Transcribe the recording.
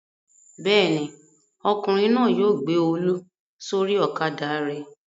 Bẹ́ẹ̀ ni, ọkùnrin náà yóò gbé Olú sórí ọ̀kadà rẹ̀.